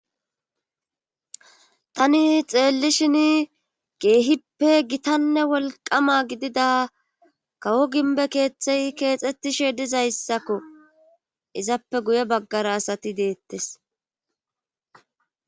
Tani xeelishini keehippe gitanne wlqqama gidida kawo gimmbe keethey keexettishe dizassako izape guye baggara asati deettes.